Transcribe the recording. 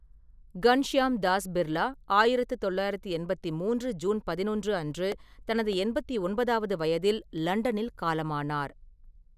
Ghanshyam Das Birla 1983 June 11 அன்று தனது 89வது வயதில் லண்டனில் காலமானார்.